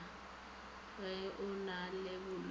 ge o na le bolwetši